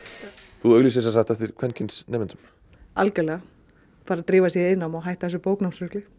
þú auglýsir semsagt eftir kvenkyns nemendum algjörlega bara drífa sig í iðnnám og hætta þessu bóknámsrugli